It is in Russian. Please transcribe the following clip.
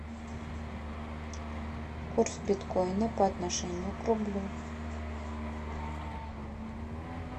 курс биткоина по отношению к рублю